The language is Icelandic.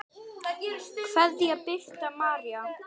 Kveðja, Birta María.